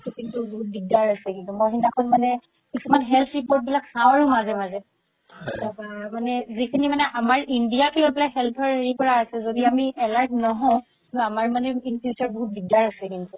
কিন্তু বহুত দিগদাৰ আছে কিন্তু মই সিদিনাখন মানে কিছুমান চাও আৰু মাজে মাজে তাৰ পা মানে যিখিনি মানে আমাৰ india লৈ পেলাই health ৰ হেৰি কৰা আছে যদি আমি alert নহও আমাৰ মানে in future বহুত দিগদাৰ আছে কিন্তু